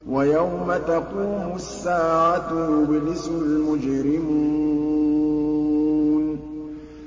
وَيَوْمَ تَقُومُ السَّاعَةُ يُبْلِسُ الْمُجْرِمُونَ